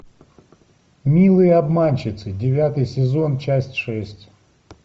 милые обманщицы девятый сезон часть шесть